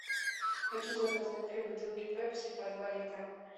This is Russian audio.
хочу заказать три бутылки пепси по два литра